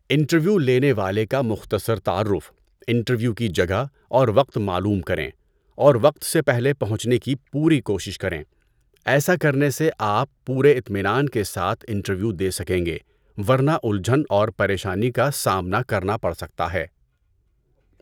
Interview لینے والے کا مختصر تعارف، انٹرویو کی جگہ اور وقت معلوم کریں اور وقت سے پہلے پہنچنے کی پوری کوشش کریں۔ ایسا کرنے سے آپ پورے اطمینان کے ساتھ انٹرویو دے سکیں گے، ورنہ الجھن اور پریشانی کا سامنا کرنا پڑ سکتا ہے۔